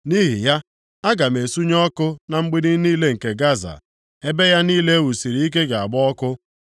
Nʼihi ya, aga m esunye ọkụ na mgbidi niile nke Gaza, ebe ya niile e wusiri ike ga-agba ọkụ.